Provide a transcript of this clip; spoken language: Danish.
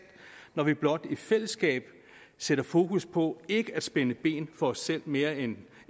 når vi blot i fællesskab sætter fokus på ikke at spænde ben for os selv mere end